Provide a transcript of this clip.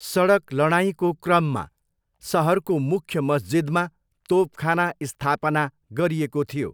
सडक लडाइँको क्रममा, सहरको मुख्य मस्जिदमा तोपखाना स्थापना गरिएको थियो।